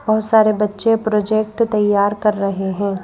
बहुत सारे बच्चे प्रोजेक्ट तैयार कर रहे हैं।